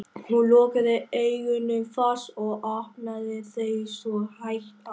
Hún lokaði augunum fast og opnaði þau svo hægt aftur.